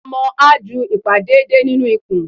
Omo a jú ipá deede ninú ikùn